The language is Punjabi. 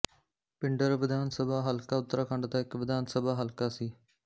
ਪਿੰਡਰ ਵਿਧਾਨ ਸਭਾ ਹਲਕਾ ਉੱਤਰਾਖੰਡ ਦਾ ਇੱਕ ਵਿਧਾਨ ਸਭਾ ਹਲਕਾ ਸੀ